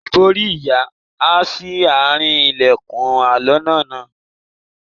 Ìbòrí ìyá há sí àárín ilẹ̀kùn aloná náà.